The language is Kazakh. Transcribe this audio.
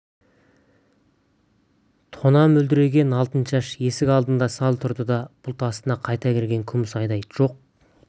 тұна мөлдіреген алтыншаш есік алдында сәл тұрды да бұлт астына қайта кірген күміс айдай жоқ